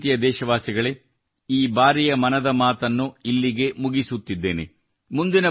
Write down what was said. ನನ್ನ ಪ್ರೀತಿಯ ದೇಶವಾಸಿಗಳೇ ಈ ಬಾರಿಯ ಮನದ ಮಾತು ಇಲ್ಲಿಗೆ ಮುಗಿಸುತ್ತಿದ್ದೇನೆ